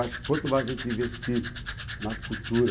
Acho que quanto mais a gente investir na cultura...